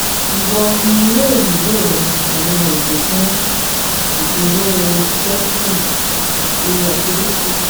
Iwọ um yoo nilo awọn oogun fun iduro belching ati acidity